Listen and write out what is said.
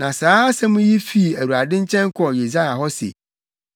Na saa asɛm yi fii Awurade nkyɛn kɔɔ Yesaia hɔ se,